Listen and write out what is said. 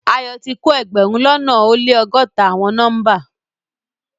Ayo ti ko egberun lona o le ọgọta awọn nọmba